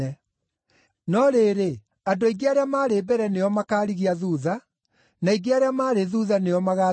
No rĩrĩ, andũ aingĩ arĩa marĩ mbere nĩo makaarigia thuutha, na aingĩ arĩa marĩ thuutha nĩo magaatongoria.